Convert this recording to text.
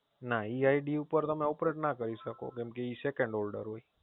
ના ઈ ID ઉપર તમે ના કરી શકો કેમકે એ Second Holder હોય